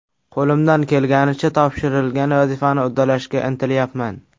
Qo‘limdan kelganicha topshirilgan vazifani uddalashga intilyapman.